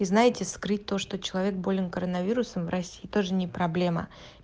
вы знаете скрыть то что человек болен коронавирусом в россии тоже не проблема